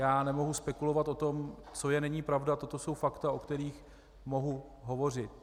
Já nemohu spekulovat o tom, co je - není pravda, toto jsou fakta, o kterých mohu hovořit.